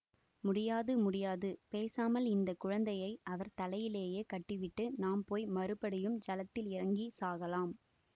முடியாது முடியாது பேசாமல் இந்த குழந்தையை அவர் தலையிலே கட்டி விட்டு நாம் போய் மறுபடியும் ஜலத்தில் இறங்கி சாகலாம்